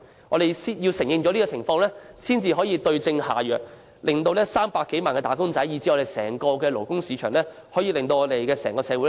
我們必先承認這個問題，才能對症下藥，令300多萬名"打工仔"，以至整個勞工市場進而整個社會得益。